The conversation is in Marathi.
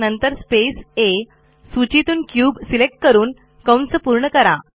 नंतर स्पेस आ सूचीतून क्यूब सिलेक्ट करून पूर्ण करा